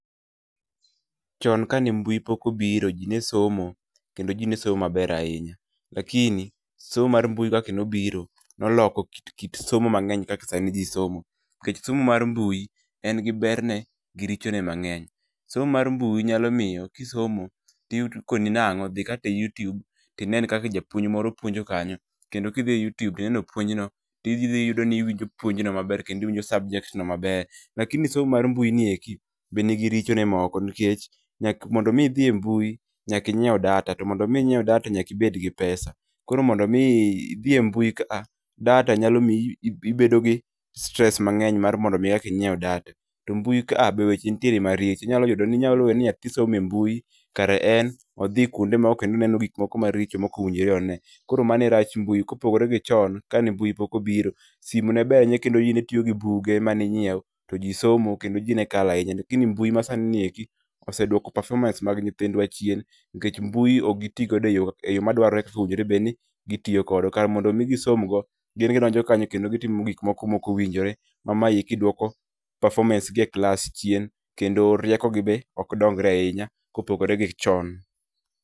Chon kane mbui pok obiro ji ne somo kendo ji ne somo maber ahinya, lakini somo mar mbui kaka ne biro ne oloko kit somo mang'eny kaka sani ji somo. Nikeh somo mar mbui en gi berne gi richone mang'eny. Somo mar mbui nyalo miyo kisomo to iyudo kikoni nang'o dhi kata e yutube to kineno kaka japuonj moro puonjo kanyo kendo kidhi e yutube to ineno puonjno, to idhi iyudo ni iwinjo puonjno maber kendo iwinjo subject maber. lakini somo mar mbui ni eki be nigi richone moko nikech nyaka mondo mi idhi e mbui nyaka inyiew data to mondo mi inyiiew data nyaka ibed gi pesa koro mondo mi dhi idhi e mbui ka data nyalo miyo ibed gi stress mang'eny mar mondo mi inyiew data to mbui kae be weche nitiere maricho. Inyalo yudo ni nyathi somo e mbui kae en odhi kuonde ma oneno gik moko maricho ma ok winjore one. Koro mano e rach mbui kopogore gi chon kane mbui pok ne obiro, simu ne ber kendo ji ne tiyo gi buge mane inyiewo to ji somo kendo ji ne kalo ahinya kendo gini mbui masani eki oseduoko performance mag nyithindwa chien nikech mbui ok giti godo e yo eyo ma dwarre kaka owinjore bed ni gitiyomkode kar mondo mi gisom go gin gidonjo kanyoo kendo gitimo gik moko maok winjore ma mae duoko performance gi e klas chien kendo riekogi be ok dongre ahinya kopogore gichon.